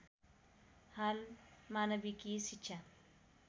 हाल मानविकी शिक्षा